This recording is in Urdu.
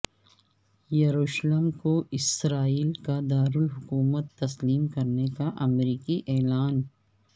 یروشلم کو اسرائیل کا دارالحکومت تسلیم کرنے کا امریکی اعلان